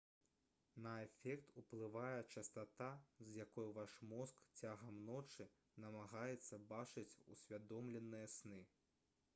на эфект уплывае частата з якой ваш мозг цягам ночы намагаецца бачыць усвядомленыя сны